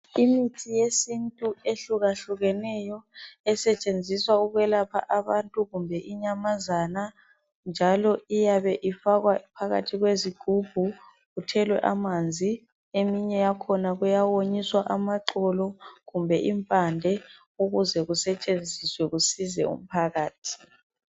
Imithi yesintu ehlukahlukeneyo esetshenziswa ukwelapha abantu kumbe inyamazana njalo iyabe ifakwa phakathi kwezigubhu ithelwa amanzi eminye yakhona kuyawonyiswa amahlamvu kumbe impande ukuze kusetshenziswe ukusiza umphakathi.